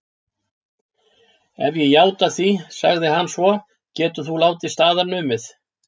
Ef ég játa því, sagði hann svo, geturðu þá látið staðar numið?